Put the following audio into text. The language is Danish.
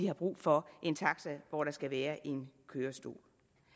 har brug for en taxa hvor der skal være en kørestol